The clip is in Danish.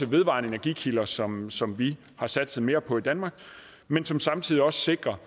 vedvarende energikilder som som vi har satset mere på i danmark men som samtidig også sikrer